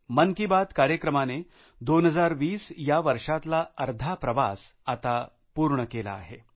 मन की बात कार्यक्रमाने 2020 या वर्षातला अर्धा प्रवास आता पूर्ण केला आहे